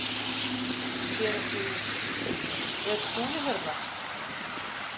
SÉRA SIGURÐUR: Er Skúli hérna?